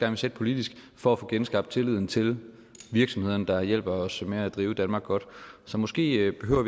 vil sætte politisk for at få genskabt tilliden til virksomhederne der hjælper os med at drive danmark godt så måske behøver